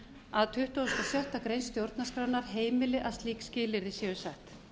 að tuttugasta og sjöttu grein stjórnarskrárinnar heimili að slík skilyrði séu sett